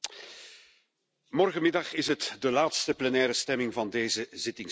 Voorzitter, morgenmiddag is het de laatste plenaire stemming van deze zittingsperiode.